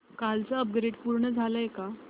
कालचं अपग्रेड पूर्ण झालंय का